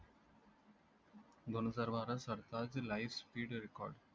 दोन हजार बारा सरताज LIGHT SPEED RECORD